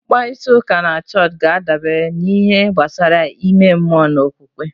Mkparịta ụka na chọọchị ga-adabere n'ihe gbasara ime mmụọ na okwukwe